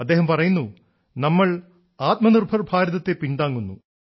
അദ്ദേഹം പറയുന്നു നമ്മൾ ആത്മനിർഭർ ഭാരതത്തെ പിൻതാങ്ങുന്നു